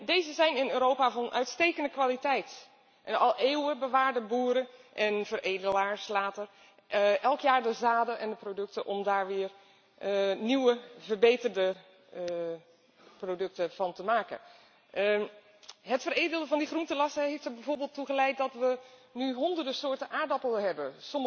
Deze zijn in Europa van uitstekende kwaliteit en al eeuwen bewaarden boeren en later veredelaars elk jaar de zaden en producten om daar weer nieuwe verbeterde producten van te maken. Het veredelen van die groenterassen heeft er bijvoorbeeld toe geleid dat we nu honderden soorten aardappelen hebben.